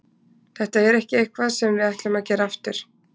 Þetta er ekki eitthvað sem við ætlum að gera aftur.